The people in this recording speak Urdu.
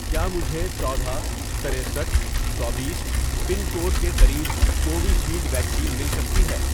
کیا مجھے چودہ ،ترستھ ،چوبیس، پن کوڈ کے قریب کووِشیلڈ ویکسین مل سکتی ہے